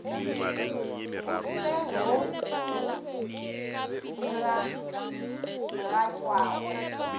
o fe wo o diragatšwago